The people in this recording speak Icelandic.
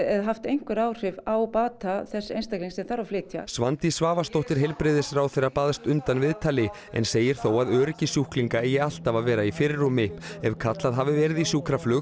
haft einhver áhrif á bata þess einstaklings sem þarf að flytja Svandís Svavarsdóttir heilbrigðisráðherra baðst undan viðtali en segir þó að öryggi sjúklinga eigi alltaf að vera í fyrirrúmi ef kallað hafi verið í sjúkraflug